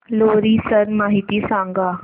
लोहरी सण माहिती सांगा